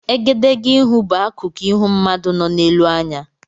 Egedegeihū bụ akukụ ịhụ mmadụ nọ n'elu anya.